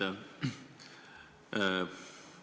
Aitäh!